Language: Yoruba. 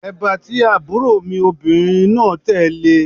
Èbá tí àbúrò mi obìnrin náà tẹ̀ le